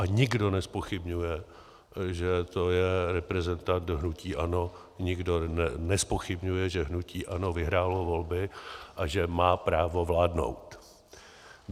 A nikdo nezpochybňuje, že to je reprezentant hnutí ANO, nikdo nezpochybňuje, že hnutí ANO vyhrálo volby a že má právo vládnout.